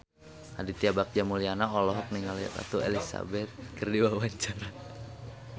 Aditya Bagja Mulyana olohok ningali Ratu Elizabeth keur diwawancara